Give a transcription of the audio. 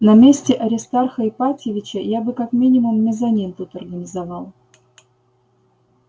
на месте аристарха ипатьевича я бы как минимум мезонин тут организовал